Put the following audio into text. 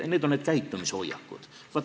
Need on need käitumishoiakud.